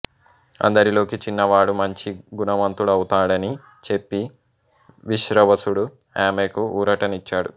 అందరిలోకి చిన్నవాడు మంచి గుణవంతుడవుతాడని చెప్పి విశ్రవసుడు ఆమెకు ఊరట నిచ్చాడు